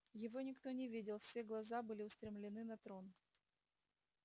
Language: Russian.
его никто не видел все глаза были устремлены на трон